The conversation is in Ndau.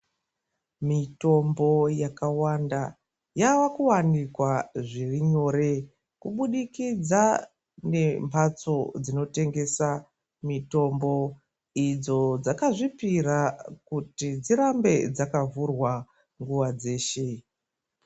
Mitombo yakawanda, yave kuwanikwa zviri nyore, kubudikidza nembatso dzinotengesa mitombo, idzo dzakazvipira kuti dzirambe dzakavhurwa nguwa dzeshe.